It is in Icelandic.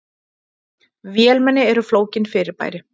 Vélmenni eru flókin fyrirbæri.